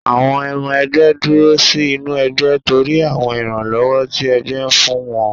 Àwọn ọmọ ẹgbé dúró sí inú ẹgbẹ́ torí àwọn ìrànlọ́wọ́ tí ẹgbẹ́ fún wọn.